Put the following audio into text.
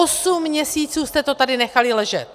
Osm měsíců jste to tady nechali ležet!